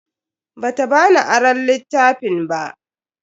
Bata bani aron littafin ba.